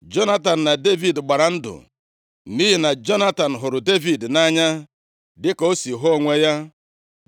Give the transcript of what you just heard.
Jonatan na Devid gbara ndụ nʼihi na Jonatan hụrụ Devid nʼanya dịka o si hụ onwe ya.